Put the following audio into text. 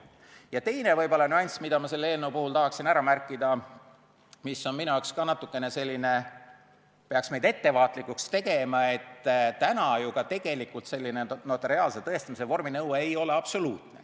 Järgmine nüanss, mida ma selle eelnõu puhul tahaksin ära märkida ja mis on minu arvates ka natukene selline, et peaks meid ettevaatlikuks tegema, on see, et täna ju ka notariaalse tõestamise vorminõue ei ole absoluutne.